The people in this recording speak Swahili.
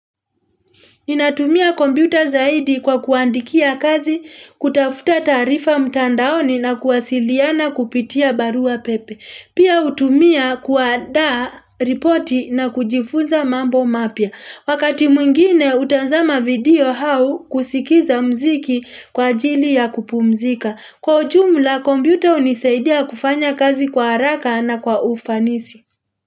Ninatumia kompyuta zaidi kwa kuandikia kazi, kutafuta taarifa mtandaoni na kuwasiliana kupitia barua pepe. Pia hutumia kuandaa ripoti na kujifunza mambo mapya. Wakati mwingine hutazama video au kusikiza muziki kwa ajili ya kupumzika. Kwa ujumla kompyuta hunisaidia kufanya kazi kwa haraka na kwa ufanisi.